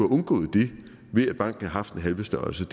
undgået det ved at banken havde haft den halve størrelse